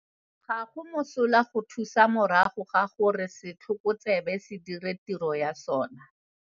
Ga go mosola go thusa morago ga gore setlhoko tsebe se dire tiro ya sona.